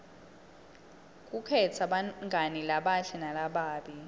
kukhetsa bangani labahle nalababi